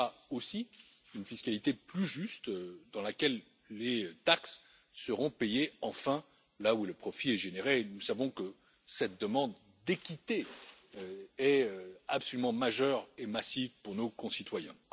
Elle offrira aussi une fiscalité plus juste, dans laquelle les taxes seront enfin payées là où le profit est généré, et nous savons que cette demande d'équité est absolument majeure et massive pour nos concitoyens.